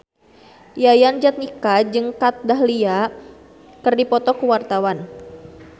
Yayan Jatnika jeung Kat Dahlia keur dipoto ku wartawan